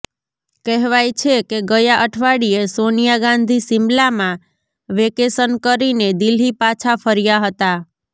કહેવાય છે કે ગયા અઠવાડિયે સોનિયા ગાંધી શિમલામાં વેકેશન કરીને દિલ્હી પાછા ફર્યા હતા